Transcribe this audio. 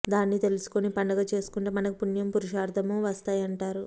దాన్ని తెలుసుకొని పండుగ చేసుకొంటే మనకు పుణ్యం పురుషార్థమూ వస్తాయంటారు